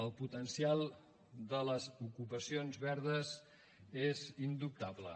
el potencial de les ocupacions verdes és indubtable